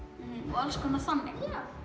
og alls konar þannig